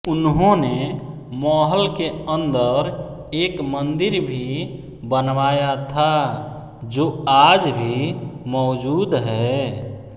उन्होंने महल के अंदर एक मंदिर भी बनवाया था जो आज भी मौजूद है